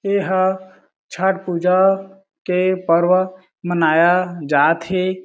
ऐ हा छठ पूजा के पर्व मनाया जात हे।